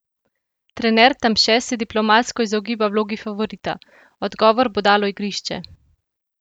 Trener Tamše se diplomatsko izogiba vlogi favorita: "Odgovor bo dalo igrišče.